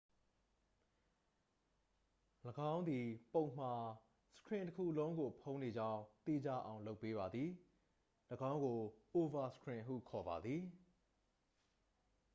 ၎င်းသည် ပုံမှာ စခရင်တစ်ခုလုံးကိုဖုံးနေကြောင်း သေချာအောင်လုပ်ပေးပါသည် ၎င်းကို အိုဗာစခရင်ဟုခေါ်ပါသည်